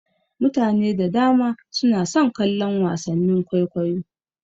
Mutane da dama suna son kallon wasannin kwaikwayo.